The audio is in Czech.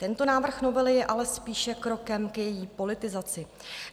Tento návrh novely je ale spíše krokem k její politizaci.